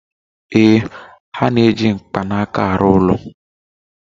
Ee, ha na-eji mkpanaka arụ ụlọ